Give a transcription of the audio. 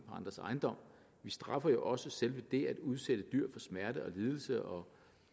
andres ejendom vi straffer jo også selve det at udsætte dyr for smerte og lidelse og